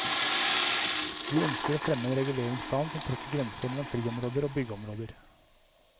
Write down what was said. Vi ønsker å fremme en reguleringsplan som trekker grenser mellom friområder og byggeområder.